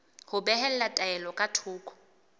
ho behela taelo ka thoko